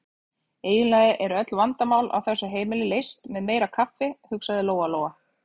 Eiginlega eru öll vandamál á þessu heimili leyst með meira kaffi, hugsaði Lóa-Lóa.